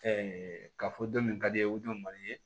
k'a fɔ don min ka di ye o don mali ye